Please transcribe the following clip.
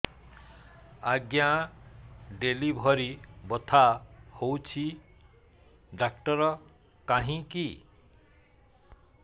ଆଜ୍ଞା ଡେଲିଭରି ବଥା ହଉଚି ଡାକ୍ତର କାହିଁ କି